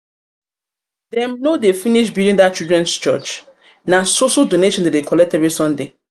no dey finish building that children church? na so so donations dem dey collect every sunday